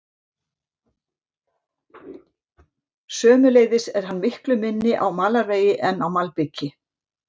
Sömuleiðis er hann miklu minni á malarvegi en á malbiki.